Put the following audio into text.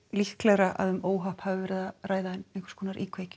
líklegra að um óhapp hafi verið að ræða ekki íkveikju